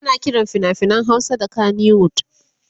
ana Kiran finafinan Hausa da kanywood